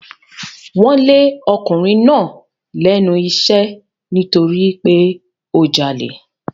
Wọ́n lé ọkùnrin náà lẹ́nu iṣẹ́ nítorí pé ó jalè.